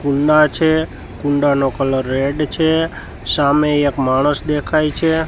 કુંડા છે કુંડાનો કલર રેડ છે સામે એક માણસ દેખાય છે.